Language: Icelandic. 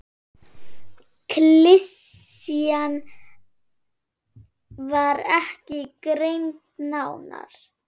Klisjan var ekki greind nánar.